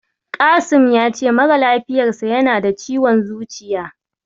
Kasim ya ce mara lafiyarsa yana da ciwon zuciya.